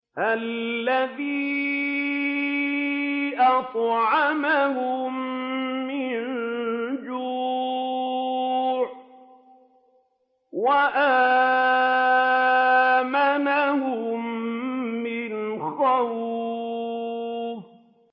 الَّذِي أَطْعَمَهُم مِّن جُوعٍ وَآمَنَهُم مِّنْ خَوْفٍ